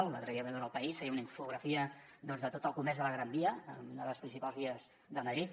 l’altre dia també ho vam veure a el país feia una infografia doncs de tot el comerç de la gran via una de les principals vies de madrid